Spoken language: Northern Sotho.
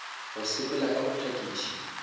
go sepela ka go phakiša